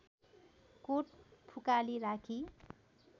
coat फुकाली राखी